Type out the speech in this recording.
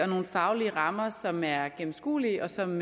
nogle faglige rammer som er gennemskuelige og som